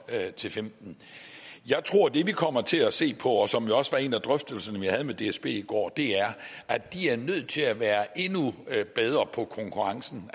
til femten jeg tror at det vi kommer til at se på og som jo også var en af drøftelserne vi havde med dsb i går er at de er nødt til at være endnu bedre på konkurrencen